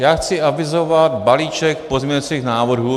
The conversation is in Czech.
Já chci avizovat balíček pozměňovacích návrhů.